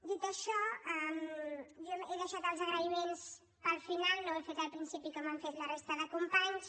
dit això jo he deixat els agraïments per al final no ho he fet al principi com han fet la resta de companys